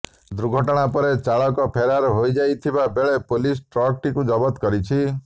ଦୁର୍ଘଟଣା ପରେ ଚାଳକ ଫେରାର ହୋଇଯାଇଥିବା ବେଳେ ପୁଲିସ ଟ୍ରକ୍ଟିକୁ ଜବତ କରିଛି